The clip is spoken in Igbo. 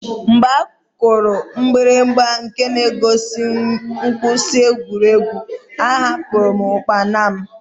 Mgbe a kụrụ mgbirigba nke na-egosi mkwụsị egwuregwu, ahapụru m ụkpana m.